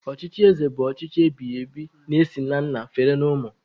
Ọchịchị ézē bụ ọchịchị ebighị ebighị na-esi na nna fere na ụmụ.